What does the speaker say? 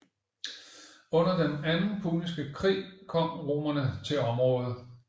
Under den anden puniske krig kom romerne til området